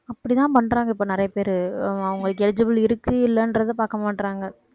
அப்படிதான் பண்றாங்க இப்ப நிறைய பேரு அவங்களுக்கு eligible இருக்கு இல்லைன்றதை பார்க்க மாட்றாங்க